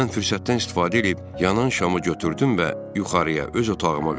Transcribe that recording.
Mən fürsətdən istifadə eləyib yanan şamı götürdüm və yuxarıya öz otağıma qalxdım.